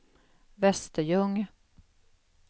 Västerljung